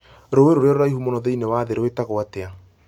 Rũũĩ rũrĩa rũraihu mũno thĩinĩ wa thĩ rwĩtagwo atĩa